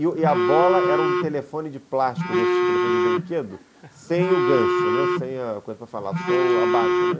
E a bola era um telefone de plástico desses, telefone de brinquedo, sem o gancho, né, sem a coisa para falar, só a base, né.